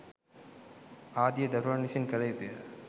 ආදිය දරුවන් විසින් කළ යුතුය.